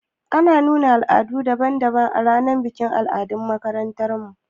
Ana nuna al'adu daban daban a ranar bikin al'adu a makarantar mu